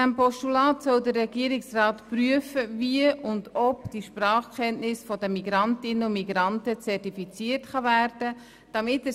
Das Postulat fordert den Regierungsrat auf, zu prüfen, ob und wie die Sprachkenntnisse der Migrantinnen und Migranten zertifiziert werden können.